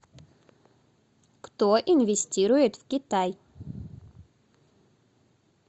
кто инвестирует в китай